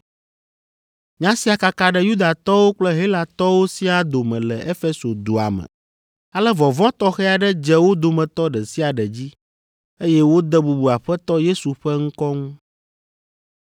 Nya sia kaka ɖe Yudatɔwo kple Helatɔwo siaa dome le Efeso dua me. Ale vɔvɔ̃ tɔxɛ aɖe dze wo dometɔ ɖe sia ɖe dzi, eye wode bubu Aƒetɔ Yesu ƒe ŋkɔ ŋu.